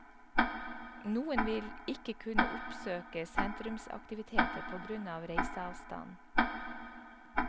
Noen vil ikke kunne oppsøke sentrumsaktiviteter på grunn av reiseavstand.